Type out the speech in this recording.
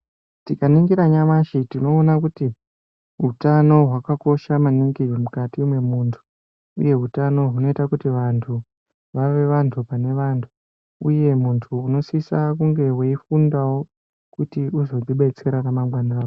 Tikaningira nyamashi, tinoona kuti utano hwakakosha maningi mukati mwemuntu, uye utano unoite kuti vantu vave vantu pane vantu, uye muntu unosise kunge weifundawo kuti uzo zvidetserawo ramangwana rako.